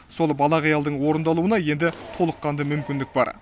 сол бала қиялдың орындалуына енді толыққанды мүмкіндік бар